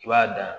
I b'a dan